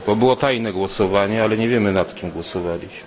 Bo było tajne głosowanie, ale nie wiemy, nad kim głosowaliśmy.